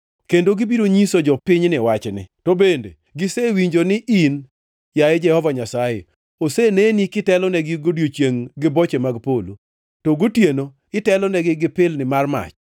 Kendo gibiro nyiso jopinyni wachni. To bende gisewinjo ni in, yaye Jehova Nyasaye, oseneni kitelonegi godiechiengʼ gi boche mag polo, to gotieno itelonegi gi pilni mar mach.